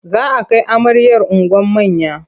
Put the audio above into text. Za a kai amaryar unguwar manya.